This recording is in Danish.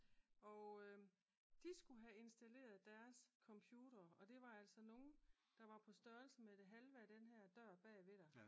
Og de skulle have installeret deres computere og det var altså nogen der var på størrelse med det halve af den her dør bagved dig